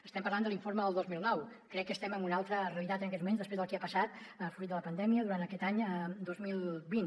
estem parlant de l’informe del dos mil dinou crec que estem en una altra realitat en aquests moments després del que ha passat fruit de la pandèmia durant aquest any dos mil vint